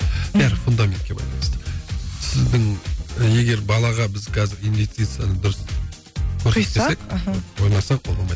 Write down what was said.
бәрі фундаментке байланысты сіздің егер балаға біз қазір инвестицияны дұрыс қоймасақ ол болмайды